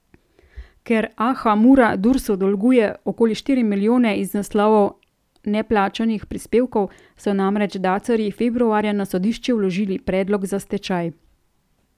Ker Aha Mura Dursu dolguje okoli štiri milijone iz naslova neplačanih prispevkov, so namreč dacarji februarja na sodišče vložili predlog za stečaj.